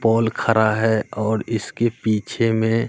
पोल खड़ा है और इसके पीछे में--